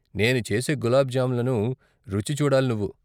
నేను చేసే గులాబ్ జామున్లను రుచి చూడాలి నువ్వు.